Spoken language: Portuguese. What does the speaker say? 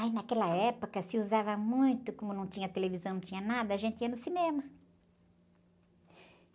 Ai, naquela época, se usava muito, como não tinha televisão, não tinha nada, a gente ia no cinema.